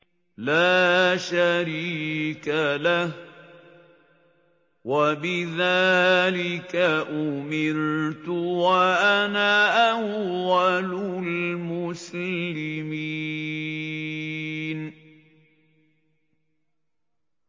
لَا شَرِيكَ لَهُ ۖ وَبِذَٰلِكَ أُمِرْتُ وَأَنَا أَوَّلُ الْمُسْلِمِينَ